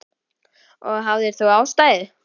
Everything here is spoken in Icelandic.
Og hafðir þú ástæðu?